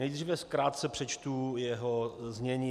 Nejprve krátce přečtu jeho znění.